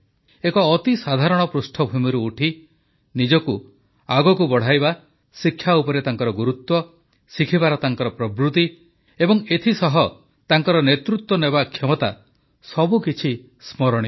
ଏକ ଅତି ସାଧାରଣ ପୃଷ୍ଠଭୂମିରୁ ଉଠି ନିଜକୁ ଆଗକୁ ବଢ଼ାଇବା ଶିକ୍ଷା ଉପରେ ତାଙ୍କର ଗୁରୁତ୍ୱ ଶିଖିବାର ତାଙ୍କର ପ୍ରବୃତି ଏବଂ ଏଥିସହ ତାଙ୍କର ନେତୃତ୍ୱ ନେବା କ୍ଷମତା ସବୁକିଛି ସ୍ମରଣୀୟ